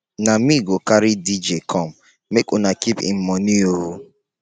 na me go carry dj come make una keep im moni o.